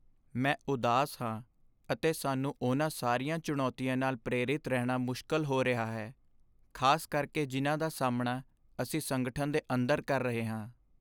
ਮੈਂ ਉਦਾਸ ਹਾਂ ਅਤੇ ਸਾਨੂੰ ਉਹਨਾਂ ਸਾਰੀਆਂ ਚੁਣੌਤੀਆਂ ਨਾਲ ਪ੍ਰੇਰਿਤ ਰਹਿਣਾ ਮੁਸ਼ਕਲ ਹੋ ਰਿਹਾ ਹੈ, ਖ਼ਾਸ ਕਰਕੇ ਜਿਨ੍ਹਾਂ ਦਾ ਸਾਹਮਣਾ ਅਸੀਂ ਸੰਗਠਨ ਦੇ ਅੰਦਰ ਕਰ ਰਹੇ ਹਾਂ।